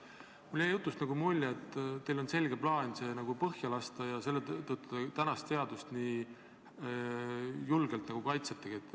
Mulle jäi teie jutust nagu mulje, et teil on selge plaan see põhja lasta ja seetõttu te tänast seadust nii julgelt kaitsetegi.